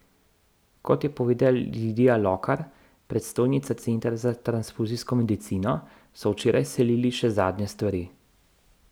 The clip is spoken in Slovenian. Kot je povedala Lidija Lokar, predstojnica centra za transfuzijsko medicino, so včeraj selili še zadnje stvari.